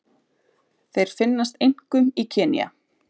Þeir finnast einkum í Kenía.